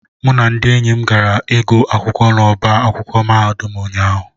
mụ na ndị enyi m gara ịgụ akwụkwọ n'ọba akwụkwọ mahadum ụnyahụ